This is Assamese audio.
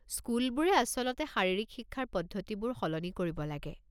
স্কুলবোৰে আচলতে শাৰীৰিক শিক্ষাৰ পদ্ধতিবোৰ সলনি কৰিব লাগে।